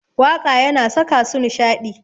Waƙa yana saka su nishaɗi.